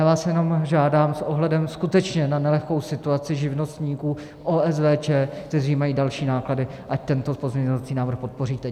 Já vás jenom žádám s ohledem skutečně na nelehkou situaci živnostníků, OSVČ, kteří mají další náklady, ať tento pozměňovací návrh podpoříte.